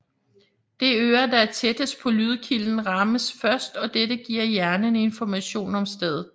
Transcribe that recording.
Det øre der er tættest på lydkilden rammes først og dette giver hjernen information om stedet